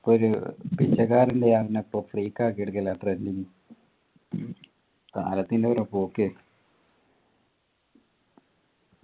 ഒരു പിച്ചക്കാരൻ്റെയാണ് പ്പോ freak ആക്കി എടുക്കല് കാലത്തിൻ്റെ ഓരോ പോക്കേ